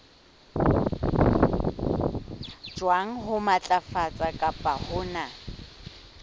jwang ho matlafatsa kapa hona